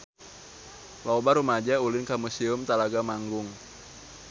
Loba rumaja ulin ka Museum Talaga Manggung